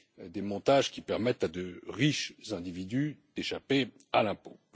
des montages qui permettent à de riches individus d'échapper à l'impôt.